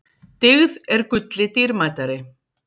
Dyggð er gulli dýrmætari.